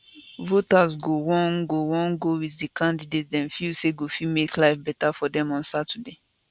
voters go wan go wan go with di candidate dem feel say go fit make life beta for dem on saturday